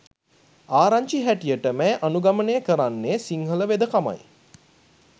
ආරංචි හැටියට මැය අනුගමනය කරන්නේ සිංහල වෙදකමයි.